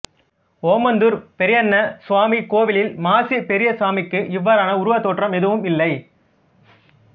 ஓமாந்தூர் பெரியண்ண சுவாமி கோவிலில் மாசி பெரியசாமிக்கு இவ்வாறான உருவத் தோற்றம் எதுவும் இல்லை